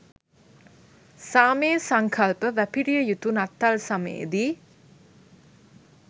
සාමයේ සංකල්ප වැපිරිය යුතු නත්තල් සමයේදී